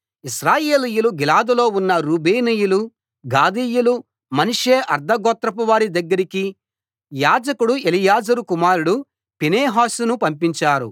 ఇశ్రాయేలీయులు గిలాదులో ఉన్న రూబేనీయులు గాదీయులు మనష్షే అర్థ గోత్రపువారి దగ్గరికి యాజకుడు ఎలియాజరు కుమారుడు ఫీనెహాసును పంపించారు